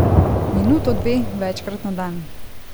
Minuto, dve, večkrat na dan.